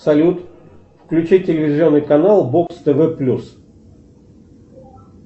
салют включи телевизионный канал бокс тв плюс